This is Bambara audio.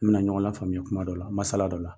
Me na ɲɔgɔn lafaamuya kuma dɔ la, masala dɔ la.